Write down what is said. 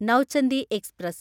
Nauchandi express